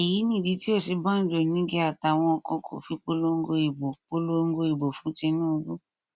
èyí nìdí tí òsínbàjò nígẹ àtàwọn kan kò fi polongo ìbò polongo ìbò fún tìǹbù